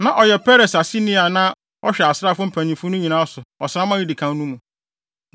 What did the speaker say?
Na ɔyɛ Peres aseni a na ɔhwɛ asraafo mpanyimfo no nyinaa so ɔsram a edi kan no mu.